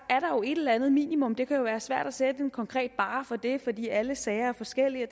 et eller andet minimum det kan være svært at sætte en konkret barre for det fordi alle sager er forskellige og